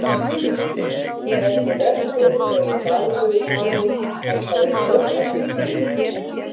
Þessi verkur er í dagleg tali kallaður hlaupastingur.